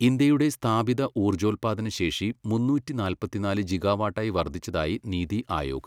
ഇന്ത്യയുടെ സ്ഥാപിത ഊർജ്ജോൽപ്പാദനശേഷി മുന്നൂറ്റി നാല്പത്തിനാല് ജിഗാവാട്ടായി വർദ്ധിച്ചതായി നീതി ആയോഗ്.